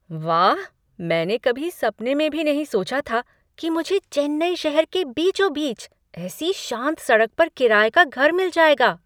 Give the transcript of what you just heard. वाह! मैंने कभी सपने में भी नहीं सोचा था कि मुझे चेन्नई शहर के बीचों बीच ऐसी शांत सड़क पर किराए का घर मिल जाएगा।